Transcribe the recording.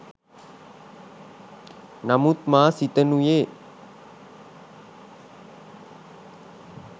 නමුත් මා සිතනුයේ